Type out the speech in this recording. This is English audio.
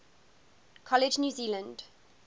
college new zealand